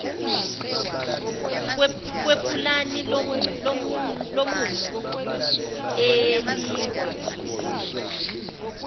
kwepulani lomumo elivunyiwe